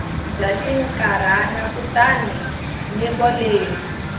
bya xinkarhana kutani nyiko leyi